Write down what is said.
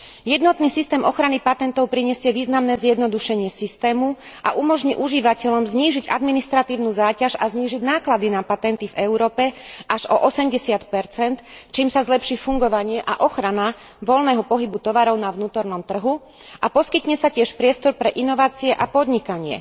Jednotný systém ochrany patentov prinesie významné zjednodušenie systému a umožní užívateľom znížiť administratívnu záťaž a znížiť náklady na patenty v Európe až o 80 čím sa zlepší fungovanie a ochrana voľného pohybu tovaru na vnútornom trhu a poskytne sa tiež priestor pre inovácie a podnikanie.